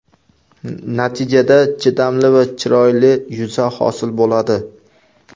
Natijada, chidamli va chiroyli yuza hosil bo‘ladi.